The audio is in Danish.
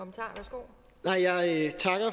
for